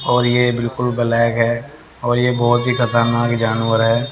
और यह बिल्कुल ब्लैक है और यह बहोत ही खतरनाक जानवर है।